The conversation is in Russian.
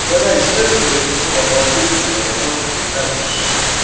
угадайте что это за вещество оно ахуительно оно просто пиздатейше